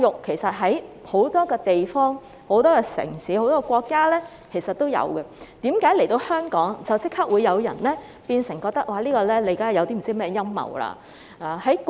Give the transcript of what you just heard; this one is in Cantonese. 其實在很多地方、城市和國家都有這種教育，為何在香港推行便立即有人覺得這是陰謀呢？